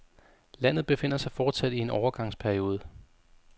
Landet befinder sig fortsat i en overgangsperiode.